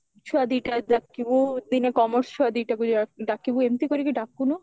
ଛୁଆ ଦିଟା ଡାକିବୁ ଦିନେ commerce ଛୁଆ ଦିଟାକୁ ଡାକିବୁ ଏମତି କରିକି ଡାକୁନୁ